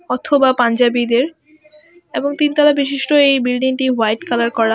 অথবা পাঞ্জাবীদের এবং তিন তলা বিশিষ্ট এই বিল্ডিংটি হোয়াইট কালার করা .